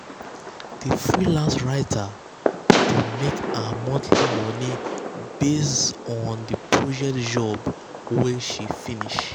the freelance writer dey make her monthly money based on the based on the project job wey she finish.